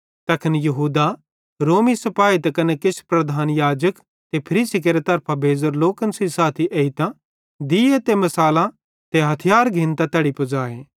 तैखन यहूदे रोमी सिपाही ते किछ प्रधान याजक ते फरीसी केरे तरफां भेज़ोरे लोकन सेइं साथी एन्तां दीये ते मिसालां ते हथियार घिन्तां तैड़ी पुज़ाए